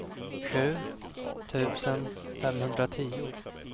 sju tusen femhundratio